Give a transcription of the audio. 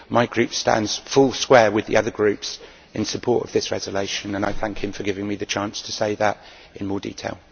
My group stands full square with the other groups in support of this resolution and I thank him for giving me the chance to say that in more detail.